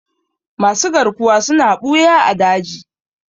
Masu garkuwa suna ɓuya a daji.